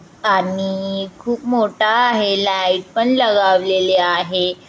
आणि खूप मोठा आहे. लाइट पण लगावलेले आहे.